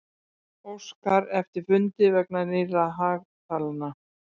Óskar eftir fundi vegna nýrra hagtalna